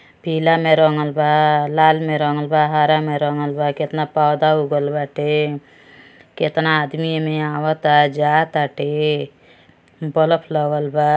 पीला में रंगल बा लाल में रंगल बा हरा में रंगल बा। केतना पौधा उगल बाटे। केतना आदमी एमें आवता जा ताटे। बलफ लगल बा।